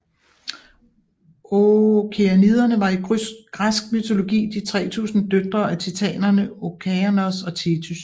Okeaniderne var i græsk mytologi de 3000 døtre af titanerne Okeanos og Thetys